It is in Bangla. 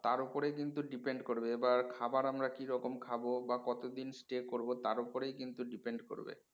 তার ওপরেই কিন্তু depend করবে এবার খাবার আমরা কিরকম খাবো বা কত দিন stay করবো তার ওপরেই কিন্তু depend করবে